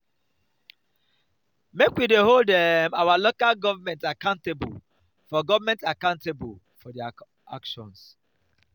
make we dey hold um our local government accountable for government accountable for their actions.